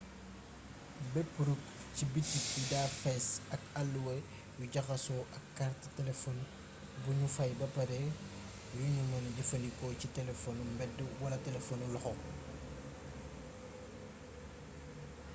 bëpp rukk ci bitik bi da fess ak alluwa yu jaxasso ak kaart telefon buñu faay bapare yuñu mëna jëfandikoo ci telefonu mbeed wala telefonu loxo